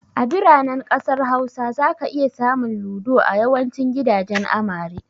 A biranen ƙasar Hausa, zaka iya samun Ludo a yawancin gidajen amare.